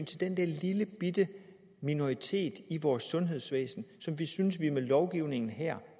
til den lillebitte minoritet i vores sundhedsvæsen som vi synes vi med lovgivningen her